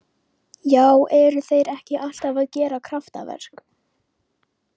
Já eru þeir ekki alltaf að gera kraftaverk?